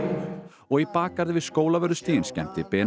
og í bakgarði við Skólavörðustíginn skemmti